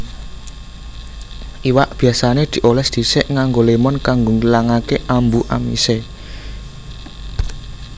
Iwak biasané diolès dhisik nganggo lémon kanggo ngilangake ambu amisé